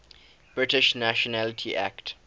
british nationality act